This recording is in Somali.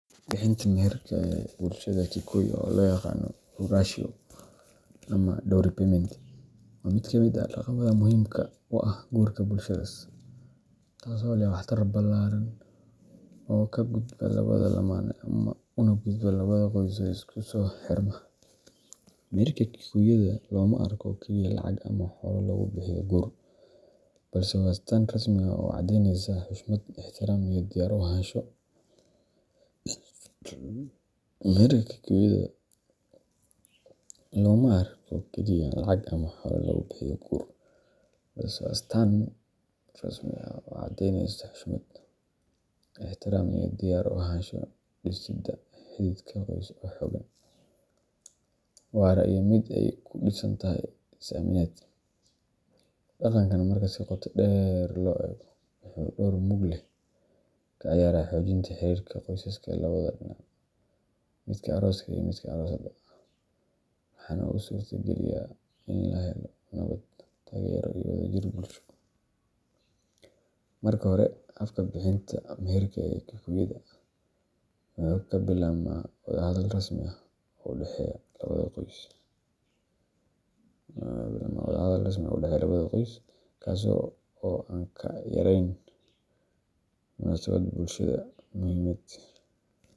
Bixinta maherka ee bulshada Kikuyu oo loo yaqaan ruracio ama dowry payment waa mid ka mid ah dhaqamada muhiimka u ah guurka bulshadaas, taasoo leh waxtar ballaaran oo ka gudba labada lamaane una gudba labada qoys ee isku soo xirma. Maherka Kikuyu-da looma arko oo keliya lacag ama xoolo lagu bixiyo guur, balse waa astaan rasmi ah oo caddeyneysa xushmad, ixtiraam iyo diyaar u ahaansho dhisidda xidhiidh qoys oo xooggan, waara, iyo mid ay ku dhisan tahay is-aaminaad. Dhaqankan marka si qoto dheer loo eego, wuxuu door mug leh ka ciyaaraa xoojinta xiriirka qoysaska labada dhinac midka arooska iyo midka aroosadda – waxaana uu suurtageliyaa in la helo nabad, taageero, iyo wadajir bulsho. Marka hore, habka bixinta maherka ee Kikuyu-da wuxuu ka bilaabmaa wada hadal rasmi ah oo u dhexeeya labada qoys, kaas oo aan ka yareyn munaasabad bulshada muhiimad.